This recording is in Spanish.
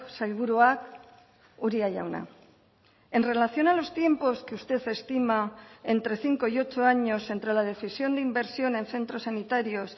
sailburuak uria jauna en relación a los tiempos que usted estima entre cinco y ocho años entre la decisión de inversión en centros sanitarios